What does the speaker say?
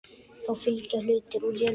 Þá fylgja hlutir úr jörðum.